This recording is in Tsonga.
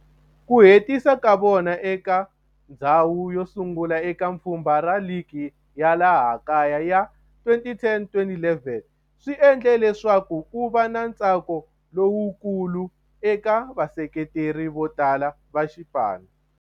Ku hetisa ka vona eka ndzhawu yosungula eka pfhumba ra ligi ya laha kaya ya 2010-11 swi endle leswaku kuva na ntsako lowukulu eka vaseketeri votala va xipano.